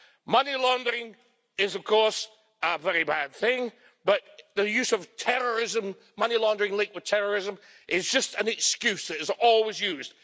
Money laundering is of course a very bad thing, but the use of terrorism, money laundering linked with terrorism, is just an excuse that is always used.